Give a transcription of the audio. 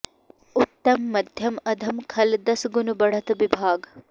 उत्तम मध्यम अधम खल दस गुन बढ़त बिभाग